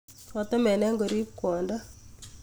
Kotemenen korib kwondo